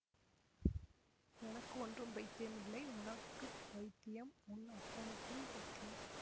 எனக்கு ஒன்றும் பைத்தியமில்லை உனக்கு பைத்தியம் உன் அப்பனுக்கும் பைத்தியம்